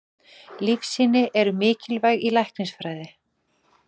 Lífsýni eru mikilvæg í læknisfræði.